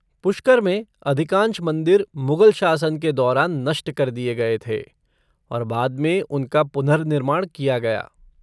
पुष्कर में अधिकांश मंदिर मुगल शासन के दौरान नष्ट कर दिए गए थे, और बाद में उनका पुनर्निर्माण किया गया।